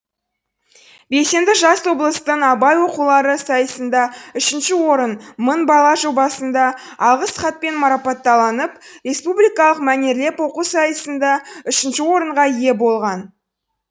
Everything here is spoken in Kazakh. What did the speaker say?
белсенді жас облыстық абай оқулары сайысында үшінші орын мың бала жобасында алғыс хатпен марапатталып республикалық мәнерлеп оқу сайысында үшінші орынға ие болған